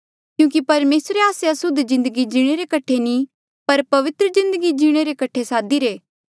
क्यूंकि परमेसरे आस्से असुद्ध जिन्दगी जीणे रे कठे नी पर पवित्र जिन्दगी जीणे रे कठे सादिरे